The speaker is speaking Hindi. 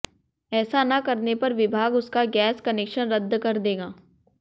ऐसा न करने पर विभाग उसका गैस कनेक्शन रद्द कर देगा